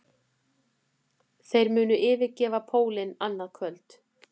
Þeir munu yfirgefa pólinn annað kvöld